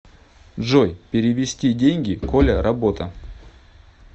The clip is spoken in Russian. джой перевести деньги коля работа